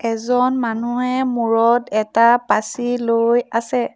এজন মানুহে মূৰত এটা পাচি লৈ আছে।